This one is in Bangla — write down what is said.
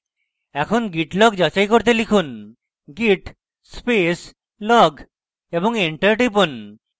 এখন git log যাচাই করতে লিখুন git space log এবং enter টিপুন